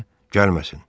Gəlməsin.